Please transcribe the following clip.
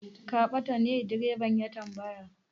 Ka bata ne? direban ya tambaya.